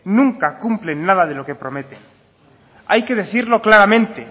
nunca cumplen nada de lo que prometen hay que decirlo claramente